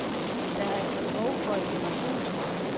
Der er behov for et generationsskifte.